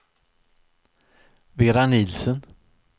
Vera Nielsen